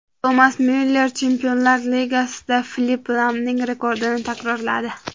Tomas Myuller Chempionlar Ligasida Filipp Lamning rekordini takrorladi.